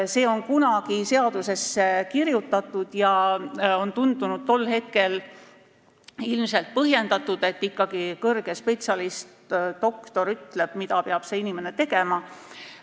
See on kunagi seadusesse kirjutatud ja on tundunud tol hetkel ilmselt põhjendatud, et ikkagi suur spetsialist, doktor, ütleks, mida inimene peab tegema.